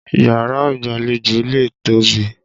Yàrá ìgbàlejò lè tóbi.